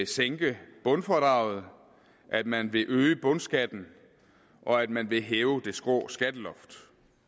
sænke bundfradraget at man vil øge bundskatten og at man vil hæve det skrå skatteloft